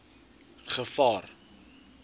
gevaar